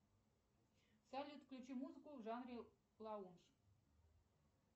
салют включи музыку в жанре лаундж